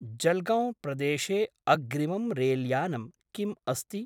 जल्गौंप्रदेशे अग्रिमं रेल्यानं किम् अस्ति?